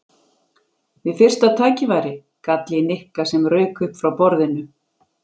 Við fyrsta tækifæri? gall í Nikka sem rauk upp frá borðinu.